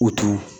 U t'u